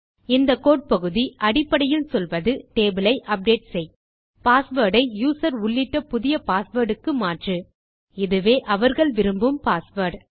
இந்த கோடு பகுதி அடிப்படையில் சொல்வது டேபிள் ஐ அப்டேட் செய் பாஸ்வேர்ட் ஐ யூசர் உள்ளிட்ட புதிய பாஸ்வேர்ட் க்கு மாற்று -இதுவே அவர்கள் விரும்பும் பாஸ்வேர்ட்